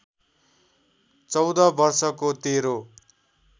१४ वर्षको तेरो